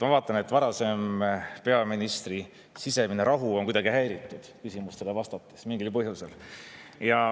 Ma vaatan, et peaministri varasem sisemine rahu on mingil põhjusel kuidagi häiritud küsimustele vastates.